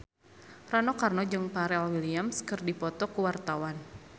Rano Karno jeung Pharrell Williams keur dipoto ku wartawan